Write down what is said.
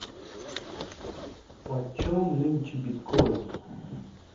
почем нынче биткоин